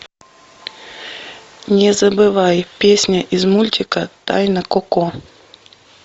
не забывай песня из мультика тайна коко